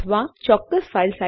ઠીક છે ભાગ 2 માં મળીશું